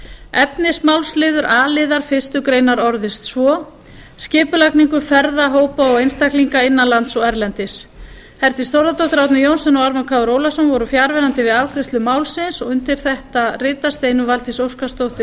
efnismálsliður a liðar fyrstu grein orðist svo skipulagningu ferða hópa og einstaklinga innan lands og erlendis herdís þórðardóttir árni johnsen og ármann krónu ólafsson voru fjarverandi við afgreiðslu málsins undir þetta rita steinunn valdís óskarsdóttir